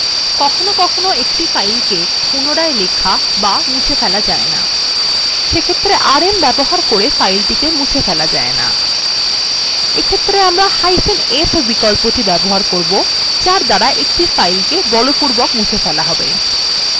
কখনও কখনও একটি file write protected থাকে সেক্ষেত্রে rm ব্যবহার করে ফাইলটিকে মুছে ফেলা যায় না এই ক্ষেত্রে আমরাf বিকল্পটি ব্যবহার করবো যার দ্বারা একটি file কে বলপূর্বক মুছে ফেলা have